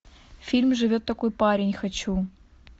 фильм живет такой парень хочу